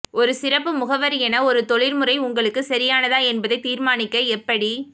ஒரு சிறப்பு முகவர் என ஒரு தொழில்முறை உங்களுக்கு சரியானதா என்பதை தீர்மானிக்க எப்படி